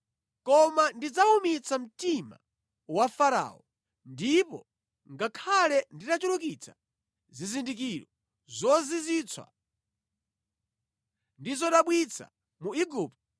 Koma ndidzawumitsa mtima wa Farao, ndipo ngakhale nditachulukitsa zizindikiro zozizwitsa ndi zodabwitsa mu Igupto,